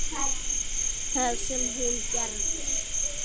Það sem hún gerði: